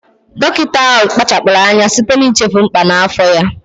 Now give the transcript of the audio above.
Dọkịta ahụ akpachapụghị anya site n'ichefu mkpà n'afọ ya